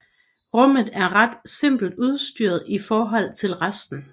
Rummet er ret simpelt udstyret i forhold til resten